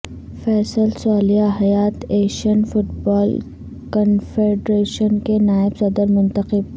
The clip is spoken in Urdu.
Faisal Saleh Hayat Asian football confederation کے نائب صدر منتخب